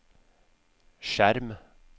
skjerm